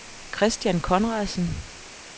Kristian Conradsen